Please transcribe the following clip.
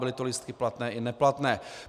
Byly to lístky platné i neplatné.